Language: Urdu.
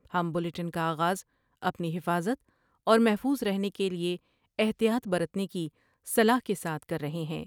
ہم بلیٹن کا آغاز اپنی حفاظت اور محفوظ رہنے کے لئے احتیاط برتنے کی صلاح کے ساتھ کر رہے ہیں ۔